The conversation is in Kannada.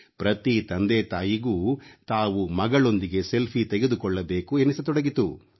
ಪ್ರತಿ ತಂದೆತಾಯಿಗೂ ತಾವೂ ಮಗಳೊಂದಿಗೆ ಸೆಲ್ಫಿ ತೆಗೆದುಕೊಳ್ಳಬೇಕು ಎನಿಸತೊಡಗಿತು